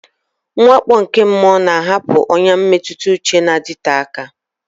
Mwakpo nke mmụọ na-ahapụ ọnyà mmetụta uche na-adịte aka.